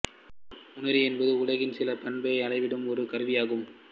உணரி என்பது உலகின் சில பண்பை அளவீடும் ஒரு கருவியாகும்